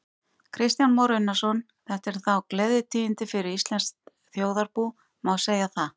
Kristján Már Unnarsson: Þetta eru þá gleðitíðindi fyrir íslenskt þjóðarbú, má segja það?